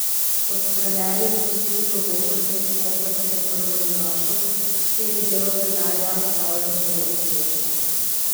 Kot trener je pustil globoko sled v koprskem prvoligašu, kjer je delo trenerja opravljal zelo uspešno.